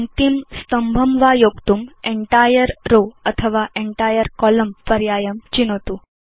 पङ्क्तिं स्तम्भं वा योक्तुं एन्टायर् रोव अथवा Entire कोलम्न पर्यायं चिनोतु